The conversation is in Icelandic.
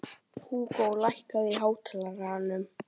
Húgó, lækkaðu í hátalaranum.